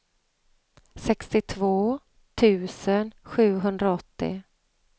sextiotvå tusen sjuhundraåttio